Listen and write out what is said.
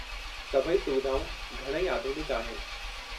सभई सुविधाऊं घणई आधुनिकु आहिनि।